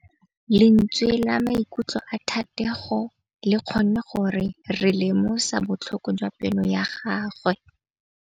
Lentswe la maikutlo a Thategô le kgonne gore re lemosa botlhoko jwa pelô ya gagwe.